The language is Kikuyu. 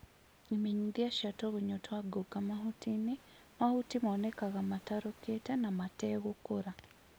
imenyithia cia tũgunyũtwa ngũnga mahutinĩ, mahuti monekaga matarũkĩte na mategũkũra